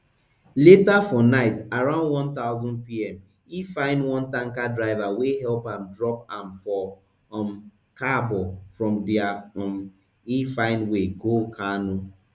later for night around one thousandpm e find one tanker driver wey help am drop am for um kabo from dia um e find way go kano